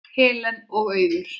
Helen og Auður.